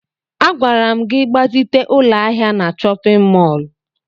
Agwara m gị gbazite ụlọ ahịa na chọpịn mọọlụ!